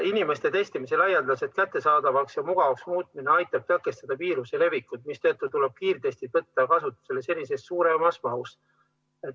Inimestele testimise laialdaselt kättesaadavaks ja mugavaks muutmine aitab tõkestada viiruse levikut, mistõttu tuleb kiirtestid võtta kasutusele senisest suuremas mahus.